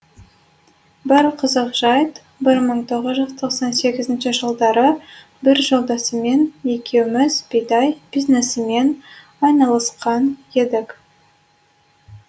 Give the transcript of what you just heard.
бір қызық жайт бір мың тоғыз жүз тоқсан сегізінші жылдары бір жолдасыммен екеуміз бидай бизнесімен айналысқан едік